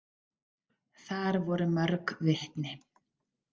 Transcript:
Þar voru mörg vitni.